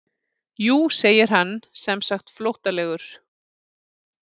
Jú segir hann semsagt flóttalegur.